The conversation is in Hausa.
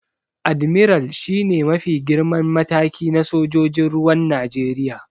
Admiral shi ne mafi girman mataki na sojojin ruwan Najeriya.